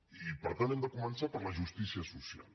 i per tant hem de començar per la justícia social